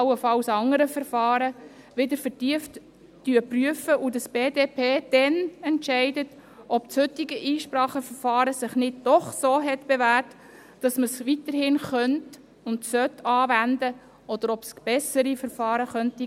Dann werden wir beurteilen, ob sich das heutige Einspracheverfahren nicht doch bewährt hat und weiterhin angewendet werden könnte und sollte, oder ob es bessere Verfahren gäbe.